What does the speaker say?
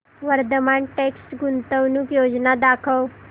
Vardhman text गुंतवणूक योजना दाखव